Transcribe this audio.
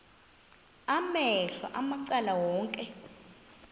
amehlo macala onke